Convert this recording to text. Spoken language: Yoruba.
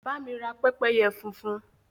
Bá mi ra pẹ́pẹ́yẹ funfun.